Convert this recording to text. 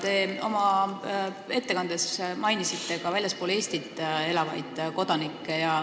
Te oma ettekandes mainisite ka väljaspool Eestit elavaid kodanikke.